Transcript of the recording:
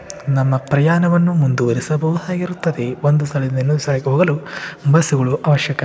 ನಮ್ಮ ಪ್ರಯಾಣವನ್ನು ಮುಂದುವರಿಸಬಹುದಾಗಿರುತ್ತದೆ. ಒಂದು ಸ್ಥಳದಿಂದ ಇನ್ನೊಂದು ಸ್ಥಳಕ್ಕೆ ಹೋಗಲು ಬಸ್ಸುಗಳು ಅವಶ್ಯಕ.